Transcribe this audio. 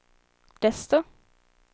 desto